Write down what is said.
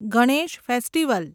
Ganesh festival